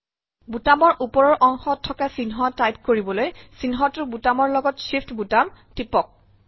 বুটামৰ ওপৰৰ অংশত থকা চিহ্ন টাইপ কৰিবলৈ চিহ্নটোৰ বুটামৰ লগত Shift বুটাম টিপক